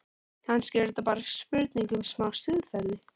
Kannski er þetta bara spurning um smá siðferði?